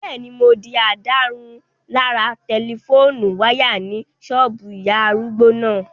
Bẹ́ẹ̀ni, mo di ìdárunlárà tẹlifóònù wáyà ní ṣọ́ọ̀bù ìyá arúgbó náà